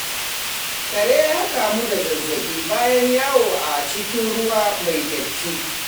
Kare ya kamu da zazzaɓi bayan yawo a cikin ruwa mai datti.